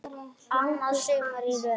Annað sumarið í röð.